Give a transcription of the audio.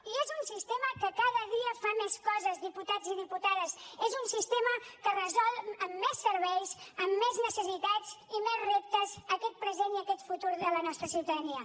i és un sistema que cada dia fa més coses diputats i diputades és un sistema que resol amb més serveis amb més necessitats i més reptes aquest present i aquest futur de la nostra ciutadania